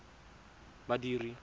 badiri